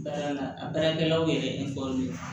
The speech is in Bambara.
Baara la a baarakɛlaw yɛrɛ